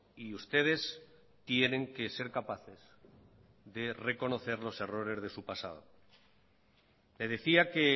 y ustedes tienen que ser capaces de reconocer los errores de su pasado le decía que